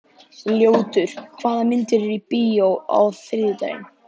Ljótur, hvaða myndir eru í bíó á þriðjudaginn?